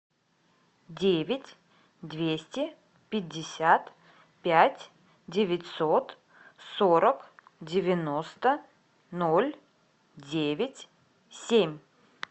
девять двести пятьдесят пять девятьсот сорок девяносто ноль девять семь